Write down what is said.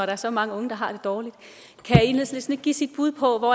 er så mange unge der har det dårligt kan enhedslisten ikke give sit bud på